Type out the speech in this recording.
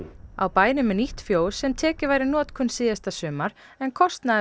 á bænum er nýtt fjós sem tekið var í notkun síðasta sumar en kostnaður